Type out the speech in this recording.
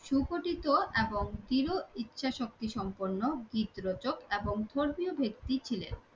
সুগঠিত এবং ইচ্ছা শক্তি সম্পূর্ণ গীতরচক এবং ধর্মীয় ভিত্তি ছিলেন